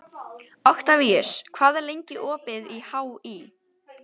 Oktavíus, hvað er lengi opið í HÍ?